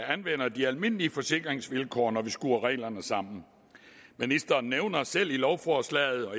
anvender de almindelige forsikringsvilkår når man skruer reglerne sammen ministeren nævner selv i lovforslaget at